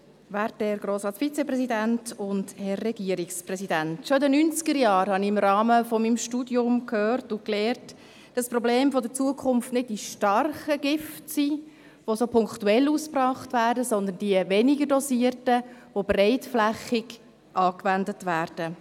Schon in den Neunzigerjahren habe ich im Rahmen meines Studiums gehört und gelernt, dass die Probleme der Zukunft nicht die starken Gifte sind, die punktuell ausgebracht werden, sondern die schwächer dosierten, die breitflächig angewendet werden.